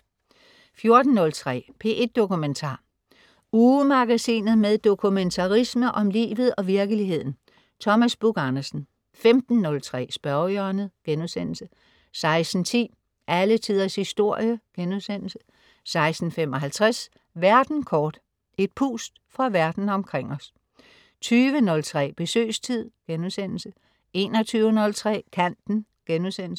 14.03 P1 Dokumentar. Ugemagasinet med dokumentarisme om livet og virkeligheden. Thomas Buch-Andersen 15.03 Spørgehjørnet* 16.10 Alle Tiders Historie* 16.55 Verden kort. Et pust fra verden omkring os 20.03 Besøgstid* 21.03 Kanten*